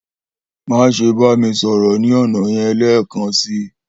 Maṣe ba mi sọrọ ni ọna yẹn lẹẹkansi!